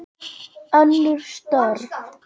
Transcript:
Önnur störf.